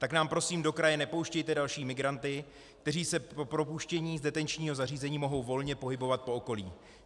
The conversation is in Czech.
Tak nám prosím do kraje nepouštějte další migranty, kteří se po propuštění z detenčního zařízení mohou volně pohybovat po okolí.